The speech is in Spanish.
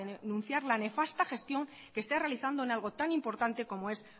denunciar la nefasta gestión que está realizando en algo tan importante como es